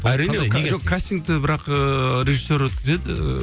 әрине жоқ кастингті бірақ ыыы режиссер өткізеді ііі